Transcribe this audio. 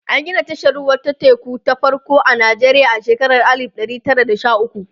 an Gina tashar ruwa ta teku ta farko a Nijeriya a shekara alif ɗari Tara da Sha ukwu